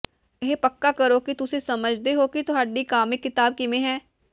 ਇਹ ਪੱਕਾ ਕਰੋ ਕਿ ਤੁਸੀਂ ਸਮਝਦੇ ਹੋ ਕਿ ਤੁਹਾਡੀ ਕਾਮਿਕ ਕਿਤਾਬ ਕਿਵੇਂ ਹੈ